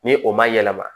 Ni o ma yɛlɛma